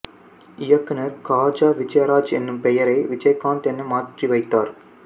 இயக்குநர் காஜா விஜயராஜ் என்னும் பெயரை விஜயகாந்த் என மாற்றி வைத்தார்